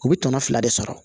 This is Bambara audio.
U bɛ tɔnɔ fila de sɔrɔ